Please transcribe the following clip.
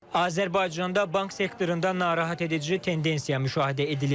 Azərbaycanda bank sektorunda narahat edici tendensiya müşahidə edilir.